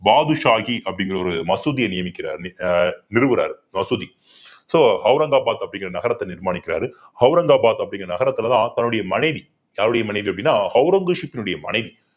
பாட்ஷாஹி அப்படிங்கிற ஒரு மசூதியை நியமிக்கிற ஆஹ் நிறுவறாரு மசூதி so அவுரங்காபாத் அப்படிங்கற நகரத்தை நிர்மாணிக்கிறாரு அவுரங்காபாத் அப்படிங்கற நகரத்துலதான் தன்னுடைய மனைவி யாருடைய மனைவி அப்படின்னா ஔரங்கசீப்னுடைய மனைவி